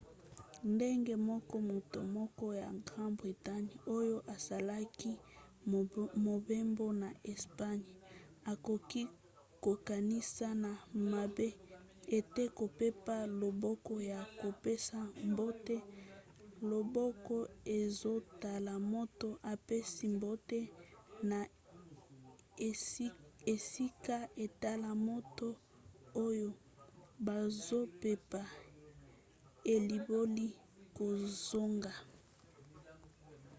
ndenge moko moto moko ya grande bretagne oyo asalaki mobembo na espagne akoki kokanisa na mabe ete kopepa loboko ya kopesa mbote loboko ezotala moto apesi mbote na esika etala moto oyo bazopepa elimboli kozonga